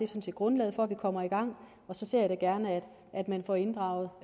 set grundlaget for at vi kommer i gang og så ser jeg da gerne at man får inddraget